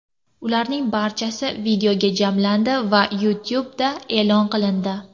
Ularning barchasi videoga jamlandi va YouTube’da e’lon qilindi.